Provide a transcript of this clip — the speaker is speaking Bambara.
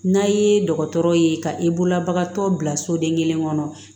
N'a ye dɔgɔtɔrɔw ye ka i bolobagatɔ bila soden kelen kɔnɔ